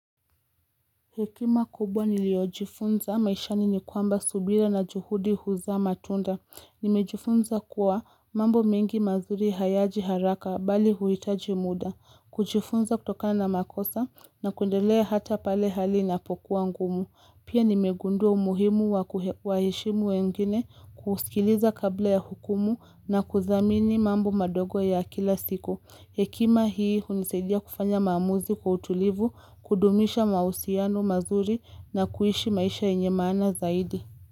Hekima kubwa niliyojifunza maishani ni kwamba subira na juhudi huzaa matunda. Nimejifunza kuwa mambo mengi mazuri hayaji haraka bali huhitaji muda. Kujifunza kutokana na makosa na kuendelea hata pale hali inapokuwa ngumu. Pia nimegundua umuhimu wa kuwaheshimu wengine kusikiliza kabla ya hukumu na kudhamini mambo madogo ya kila siku. Hekima hii hunisaidia kufanya maamuzi kwa utulivu, kudumisha mahusiano mazuri na kuishi maisha yenye maana zaidi.